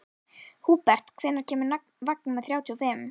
Húbert, hvenær kemur vagn númer þrjátíu og fimm?